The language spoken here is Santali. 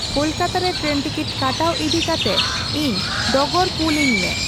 ᱠᱳᱞᱠᱟᱛᱟ ᱨᱮ ᱴᱨᱮᱱ ᱴᱤᱠᱤᱴ ᱠᱟᱴᱟᱣ ᱤᱫᱤᱠᱟᱛᱮᱜ ᱤᱧ ᱰᱚᱜᱚᱨ ᱠᱩᱞ ᱟᱹᱧᱢᱮ